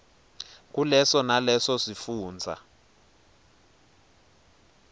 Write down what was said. kuleso naleso sifundza